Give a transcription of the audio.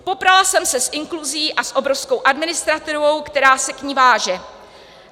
Poprala jsem se s inkluzí a s obrovskou administrativou, která se k ní váže.